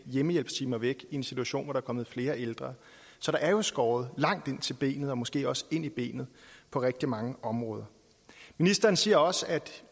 hjemmehjælpstimer væk i en situation hvor der er kommet flere ældre så der er skåret langt ind til benet og måske også ind i benet på rigtig mange områder ministeren siger også at